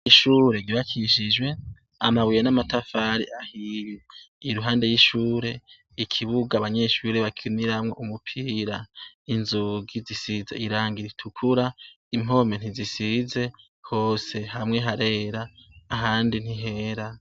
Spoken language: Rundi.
Ishure ryubakishijwe amabuye n'amatafari ahiye. Iruhande y'ishure, ikibuga abanyeshure bakiniramwo umupira. Inzugi zisize irangi ritukura, impome ntizisize hose. Hamwe harera, ahandi ntihera.